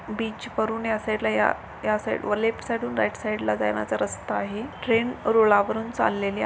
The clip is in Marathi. ब्रिज वरुण ह्या साइडला ह्या साइडला व लेफ्ट साइड वरुण राइट साइडला जाण्याचा रास्ता आहे ट्रेन रुळावरून चाळलेली--